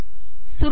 सुरु करा